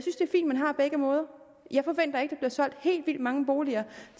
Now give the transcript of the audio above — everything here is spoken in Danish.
man har begge måder jeg forventer ikke bliver solgt helt vildt mange boliger